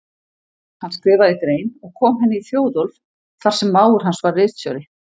Hann skrifaði grein og kom henni í Þjóðólf þar sem mágur hans var ritstjóri.